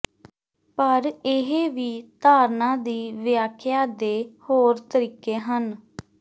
ਪਰ ਇਹ ਵੀ ਧਾਰਨਾ ਦੀ ਵਿਆਖਿਆ ਦੇ ਹੋਰ ਤਰੀਕੇ ਹਨ